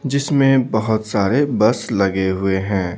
जिसमें बहुत सारे बस लगे हुए हैं।